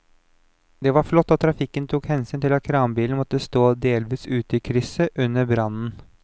Det var flott at trafikken tok hensyn til at kranbilen måtte stå delvis ute i krysset under brannen.